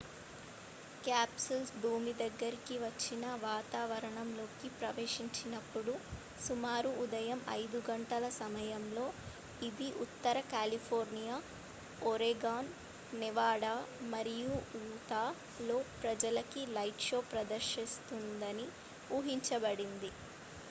capsule భూమికి దగ్గరగా వచ్చి వాతావరణంలోకి ప్రవేశించినప్పుడు సుమారు ఉదయం 5 గంటల తూర్పు సమయం సమయంలో ఇది ఉత్తర కాలిఫోర్నియా ఒరెగాన్ నెవాడా మరియు ఉతాలోని ప్రజలకి లైట్ షో ప్రదర్శిస్తుందని ఊహించబడింది